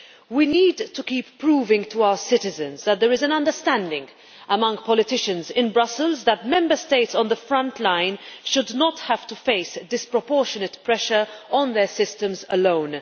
We need to keep proving to our citizens that there is an understanding among politicians in Brussels that Member States on the front line should not have to face disproportionate pressure on their systems alone.